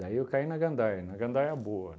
Daí eu caí na gandaia, na gandaia boa